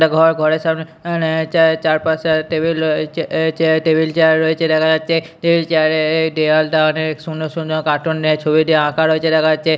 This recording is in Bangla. একটা ঘর ঘরের সামনে আনে চায়ে চারপাশে টেবিল রয়েছে এ চেয়ার টেবিল চেয়ার রয়েছে দেখা যাচ্ছে এই চেয়ারে এই দেওয়াল টা অনেক সুন্দর সুন্দর কার্টুন দিয়ে ছবি দিয়ে আঁকা রয়েছে দেখা যাচ্ছে।